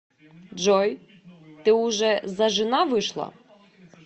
джой ты уже зажена вышла